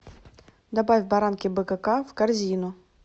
добавь баранки бкк в корзину